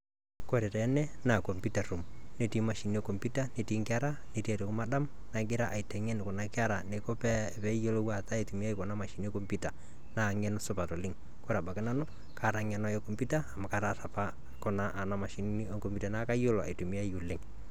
Kore teene naa kompyutaa room netii mashinini e kompyuta netii aitoki madam nagira aiteng'en neiko pee peiyelo aitumia kuna mashinini e kompyuta naa ng'eno supat oleng. Kore abaki nanu kaata ng'eno e kompyuta amu ataasa apa kuna ana mashinini e kompyuta naa kaiyelo aitumia oleng.